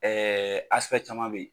caman bɛ yen